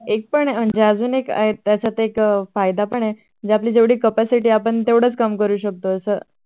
एक पण म्हणजे अजूनएक त्याच्यात एक फायदा पण आहे जेवढी आपली capacity आपण तेवढं काम करू शकतो अस